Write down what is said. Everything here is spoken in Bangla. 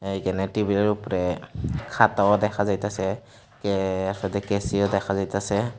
এইখানে টেবিলের উপরে খাতাও দেখা যাইতাসে কে সাথে কেঁচিও দেখা যাইতাসে।